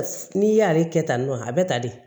N'i y'ale kɛ tantɔ a bɛ ta de